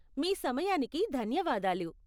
మీ సమయానికి ధన్యవాదాలు.